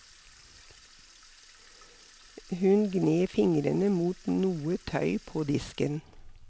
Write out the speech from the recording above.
Hun gned fingrene mot noe tøy på disken.